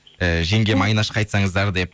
і жеңгем айнашқа айтсаңыздар деп